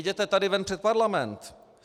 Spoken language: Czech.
Vyjděte tady ven před parlament.